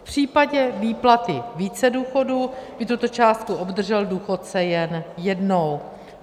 V případě výplaty více důchodů by tuto částku obdržel důchodce jen jednou.